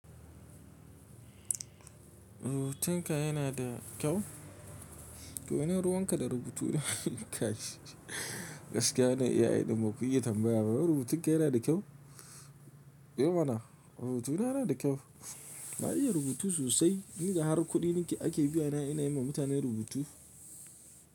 Rubutunka yana da kyau? Ko ina ruwanka da rubutu na? Gaskiya wannan AI din baku iya tambaya bah Rubutunka yana da kyau? E mana rubutu na yana da kyau. Na iya rubutu sosai. Ni da har kuɗi ake biyana ina yi ma mutane rubutu.